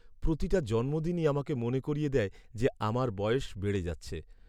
প্রতিটা জন্মদিনই আমাকে মনে করিয়ে দেয় যে আমার বয়স বেড়ে যাচ্ছে।